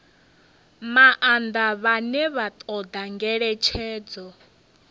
maanḓa vhane vha ṱoḓa ngeletshedzo